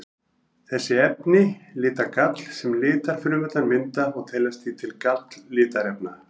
Þessi efni lita gall sem lifrarfrumurnar mynda og teljast því til galllitarefna.